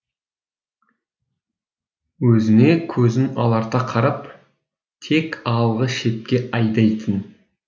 өзіне көзін аларта қарап тек алғы шепке айдайтын